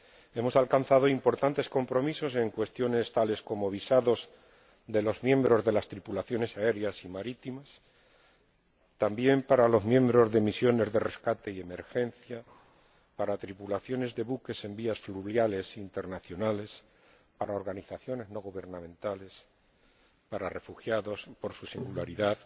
Hemos alcanzado importantes compromisos en cuestiones tales como los visados de los miembros de las tripulaciones aéreas y marítimas, y también para los miembros de misiones de rescate y emergencia, para tripulaciones de buques en vías fluviales internacionales, para organizaciones no gubernamentales y para refugiados —por su singularidad—